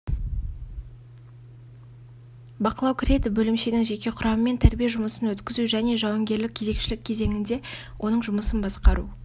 бақылау кіреді бөлімшенің жеке құрамымен тәрбие жұмысын өткізу және жауынгерлік кезекшілік кезеңінде оның жұмысын басқару